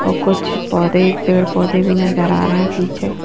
और कुछ पौधे पेड़-पौधे भी नजर आ रहे हैं पीछे--